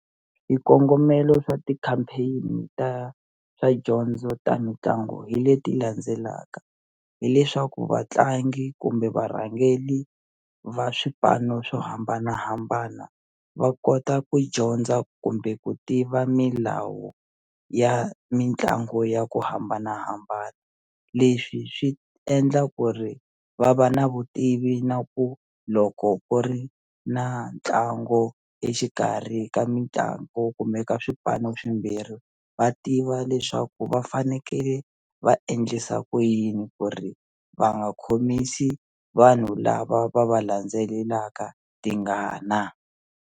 Swikongomelo swa ti-campaign ta swa dyondzo ta mitlangu hi leti landzelaka hileswaku vatlangi kumbe varhangeli va swipano swo hambanahambana va kota ku dyondza kumbe ku tiva milawu ya mitlangu ya ku hambanahambana leswi swi endla ku ri va va na vutivi na ku loko ku ri na ntlangu exikarhi ka mitlangu u kumeka swipano swimbirhi va tiva leswaku va fanekele va endlisa ku yini ku ri va nga khomisi vanhu lava va va landzelelaka tingana.